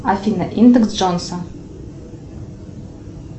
афина индекс джонса